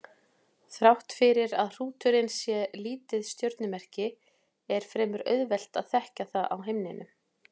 Þrátt fyrir að hrúturinn sé lítið stjörnumerki er fremur auðvelt að þekkja það á himninum.